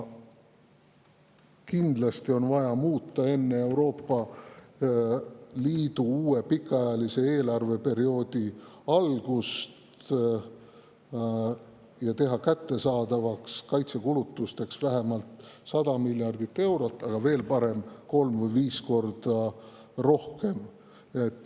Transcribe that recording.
Kindlasti on vaja teha enne Euroopa Liidu uue pikaajalise eelarveperioodi algust kaitsekulutusteks kättesaadavaks vähemalt 100 miljardit eurot, aga veel parem oleks kolm kuni viis korda rohkem.